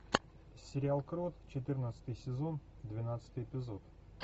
сериал крот четырнадцатый сезон двенадцатый эпизод